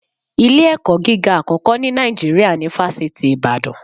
Ilé-ẹ̀kọ́ gíga àkọ́kọ́ ni Nàìjíríà ni Fásitì Ibadana